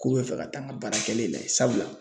K'u be fɛ ka taa n ka baara kɛlen lajɛ sabula